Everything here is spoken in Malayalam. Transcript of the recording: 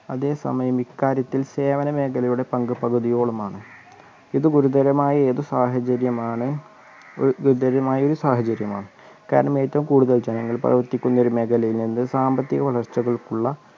അതേ സമയം ഇക്കാര്യത്തിൽ സേവന മേഖലയുടെ പങ്ക് പകുതിയോളമാണ് ഇത് ഗുരുതരമായ ഏതു സാഹചര്യമാണ് ഗു ഗുരുതരമായ ഒരു സാഹചര്യമാണ് കാരണം ഏറ്റവും കൂടുതൽ ജനങ്ങൾ പ്രവർത്തിക്കുന്ന ഒരു മേഖലയിൽ നിന്ന് സാമ്പത്തിക വളർച്ചകൾക്കുള്ള